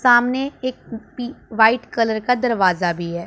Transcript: सामने एक white colour का दरवाजा भी है।